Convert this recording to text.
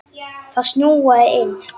Það snjóaði inn.